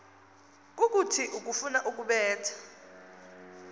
kukuthini ukufuna ukubetha